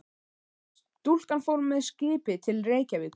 Stúlkan fór með skipi til Reykjavíkur.